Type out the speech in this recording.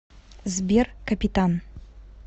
сбер капитан